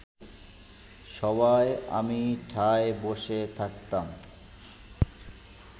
সভায় আমি ঠায় বসে থাকতাম